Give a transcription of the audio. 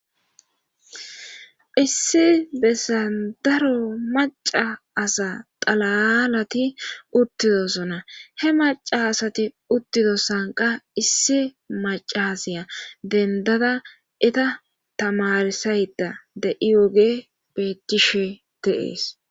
issi bessan daro maca asa xalalati uttidosona he maca asati uttidosankka issi macasiya dendada eta tamarsayda de'ioge bettishe dee'es